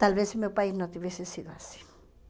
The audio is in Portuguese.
Talvez o meu país não tivesse sido assim.